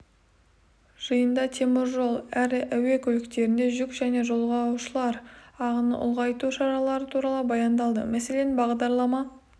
жиында темір жол әрі әуе көліктерінде жүк және жолаушылар ағынын ұлғайту шаралары туралы баяндалды мәселен бағдарлама